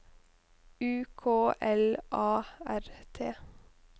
U K L A R T